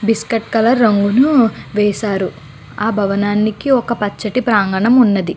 Biscuit colour రంగు లు వేసారు. ఆ భావన్ననికి ఒక పచని ప్రాగణం ఉంది.